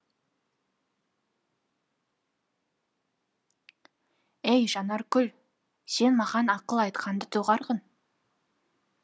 әй жанаркүл сен маған ақыл айтқанды доғарғын